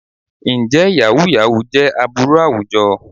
Ǹjẹ́ yàhú yàhú jẹ́ ìwà aburú àwùjọ?